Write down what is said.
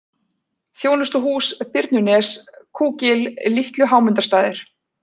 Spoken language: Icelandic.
Þjónustuhús, Birnunes, Kúgil, Litlu-Hámundarstaðir